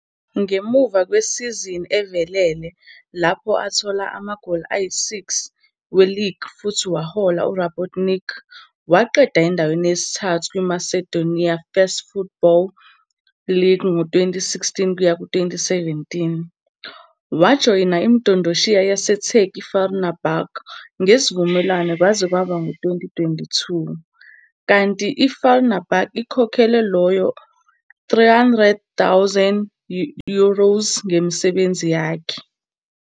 Ngemuva kwesizini evelele lapho athola khona amagoli ayisi-6 weligi futhi wahola uRabotnički waqeda endaweni yesithathu kwiMacedonia First Football League ngo- 2016-17, wajoyina imidondoshiya yaseTurkey iFenerbahçe ngesivumelwano kwaze kwaba ngu-2022, kanti iFenerbahçe ikhokhele lowo 300,000 euros ngemisebenzi yakhe.